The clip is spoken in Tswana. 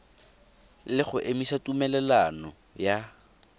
le go emisa tumelelano ya